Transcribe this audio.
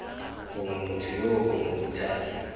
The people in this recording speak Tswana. gongwe motho yoo gongwe bothati